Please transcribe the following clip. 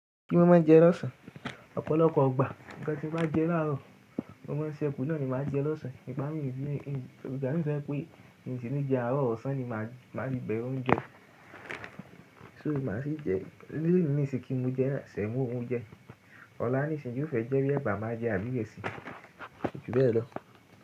Kí má má jẹ lọ́sàn, ọ̀pọ̀lọpọ̀ gbà nnkan tí n bá jẹ làárọ̀ mo má n se kù náà ni màá jẹ lọ́sàn nígbà mí ní ìgbà mí to jẹ́ pé n sì ní jẹ àárọ̀ ọ̀sán ni màá ti bèrè oúnjẹ. So màá sì jẹ, lónìí n sí kí mo jẹ sẹ̀mọ oúnjẹ. Ọ̀la nísìnyí o fẹ jẹ́ bí ẹ̀bà máa jẹ àbí ìrẹ̀sì, ko ju bẹ́ẹ̀ lọ.